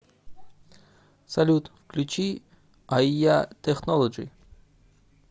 салют включи айя технолоджи